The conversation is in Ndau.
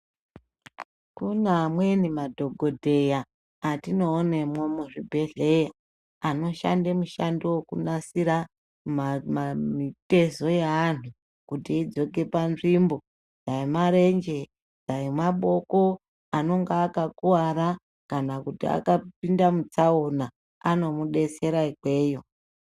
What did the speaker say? Kune amweni madhokodheya atinoonemwo muzvibhedhleya, anoshande mushando wokunasira mama mitezo yeanhu kuti idzoke panzvimbo, dai marenje ,dai maboko, anonga akakuwara kana kuti akapinda mutsaona, anomudetsera ikweyo.